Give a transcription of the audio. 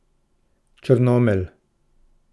Črnomelj.